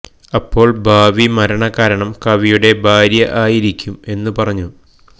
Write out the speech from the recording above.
അപ്പോൾ ഭാവി മരണ കാരണം കവിയുടെ ഭാര്യ ആയിരിക്കും എന്നു പറഞ്ഞു